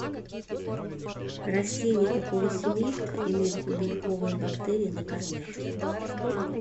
растения какого семейства имеют клубеньковые бактерии на корнях